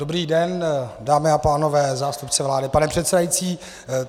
Dobrý den, dámy a pánové, zástupci vlády, pane předsedající.